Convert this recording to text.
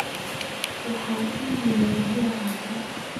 waxaan iimayl ka helay asha